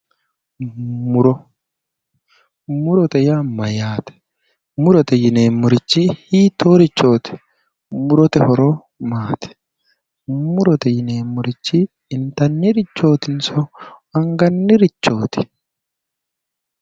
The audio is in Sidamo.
Muro murote yaa mayyaate? murote yineemmorichi hiittoorichooti? murote horo maati, murote yineemmori intannirichootinso angannirichooti?